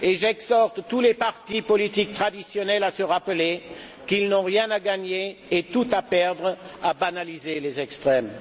J'exhorte tous les partis politiques traditionnels à se rappeler qu'ils n'ont rien à gagner et tout à perdre à banaliser les extrêmes.